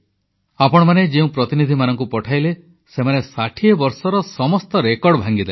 ଆପଣମାନେ ଯେଉଁ ପ୍ରତିନିଧିମାନଙ୍କୁ ପଠାଇଲେ ସେମାନେ ଷାଠିଏ ବର୍ଷର ସମସ୍ତ ରେକର୍ଡ ଭାଙ୍ଗିଦେଲେ